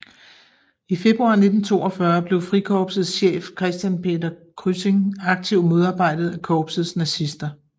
I februar 1942 blev Frikorpsets chef Christian Peder Kryssing aktivt modarbejdet af korpsets nazister